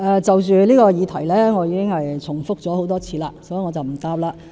就着這個議題，我已經重複多次回答，所以，我不回答了。